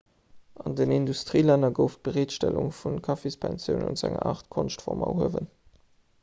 an den industrielänner gouf d'bereetstellung vu kaffispensiounen zu enger aart konschtform erhuewen